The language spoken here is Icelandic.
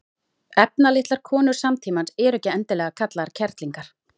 efnalitlar konur samtímans eru ekki endilega kallaðar kerlingar